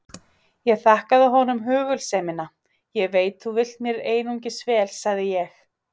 Ég þakkaði honum hugulsemina: Ég veit þú vilt mér einungis vel sagði ég.